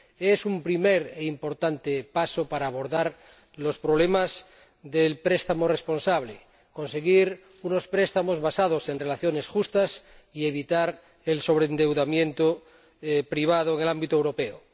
Es un primer e importante paso para abordar los problemas del préstamo responsable, conseguir unos préstamos basados en relaciones justas y evitar el sobreendeudamiento privado en el ámbito europeo.